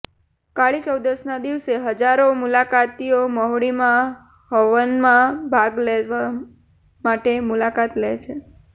કાળી ચૌદશના દિવસે હજારો મુલાકાતીઓ મહુડીમાં હવનમાં ભાગ લેવા માટે મુલાકાત લે છે